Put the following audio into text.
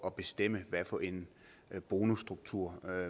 at bestemme hvad for en bonusstruktur